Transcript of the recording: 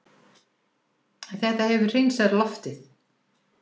En þetta hefur hreinsað loftið